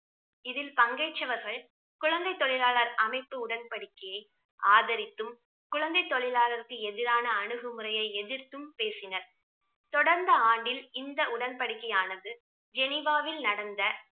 இதில் பங்கேற்றவர்கள் குழந்தை தொழிலாளர் அமைப்பு உடன்படிக்கையை ஆதரித்தும் குழந்தை தொழிலாளருக்கு எதிரான அணுகுமுறையை எதிர்த்தும் பேசினார். தொடர்ந்த ஆண்டில் இந்த உடன்படிக்கையானது ஜெனிவாவில் நடந்த